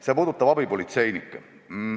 See puudutab abipolitseinikke.